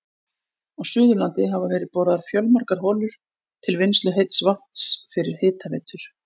Á Suðurlandi hafa verið boraðar fjölmargar holur til vinnslu heits vatns fyrir hitaveitur.